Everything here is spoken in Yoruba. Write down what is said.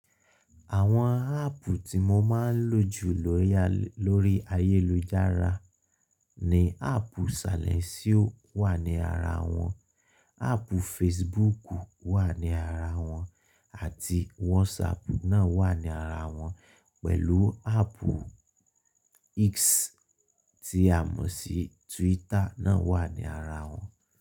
Àwọn áàpù tí mo máa ń lò jù lóri ayélujára ni áàpù salẹńsíò wà ní ara wọn, áàpù Facebook wà ní ara wọn àti WhatsApp náà wà ní ara wọn pẹ̀lú áàpù X tí a mọ̀ sí Twitter náà wà ní ara wọn.